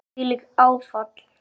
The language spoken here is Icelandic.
Þvílíkt áfall.